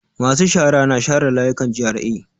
Masu shara na share layukan GRA.